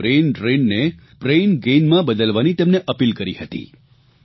મે brain drain ને brain ગેઇનમાં બદલવાની તેમને અપીલ કરી હતી